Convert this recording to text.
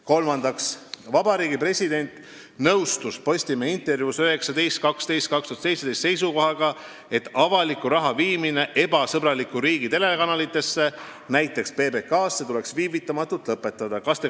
Kolmandaks: "Vabariigi President nõustus Postimehe intervjuus 19.12.2017 seisukohaga, et avaliku raha viimine ebasõbraliku riigi telekanalitesse – näiteks PBK-sse – tuleks viivitamatult lõpetada.